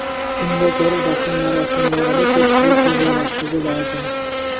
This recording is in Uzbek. Unga ko‘ra dafn marosimlarida ko‘pchilik yig‘ilmasligi lozim.